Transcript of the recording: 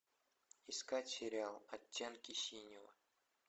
искать сериал оттенки синего